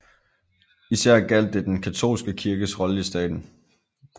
Især gjaldt det den katolske kirkes rolle i staten